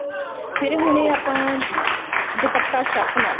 ਫ਼ੇਰ ਹੁਣ ਇਹ ਆਪਾਂ ਦੁਪੱਟਾ ਛਾਪਣਾ